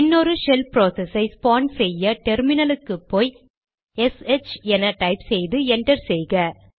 இன்னொரு shell process ஐ spawn செய்ய டெர்மினல் க்கு போய் எஸ்ஹெச் என டைப் செய்து என்டர் செய்க